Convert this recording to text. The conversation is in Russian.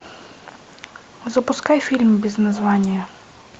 запускай фильм без названия